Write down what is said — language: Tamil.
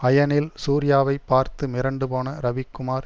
அயனில் சூர்யாவை பார்த்து மிரண்டுபோன ரவிக்குமார்